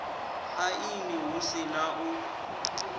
aini hu si na u